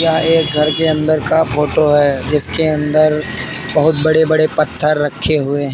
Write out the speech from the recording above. यह एक घर के अंदर का फोटो है जिसके अंदर बहुत बड़े बड़े पत्थर रखे हुए हैं।